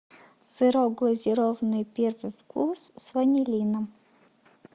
сырок глазированный первый вкус с ванилином